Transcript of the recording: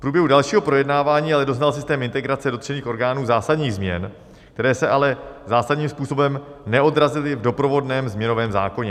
V průběhu dalšího projednávání ale doznal systém integrace dotčených orgánů zásadních změn, které se ale zásadním způsobem neodrazily v doprovodném změnovém zákoně.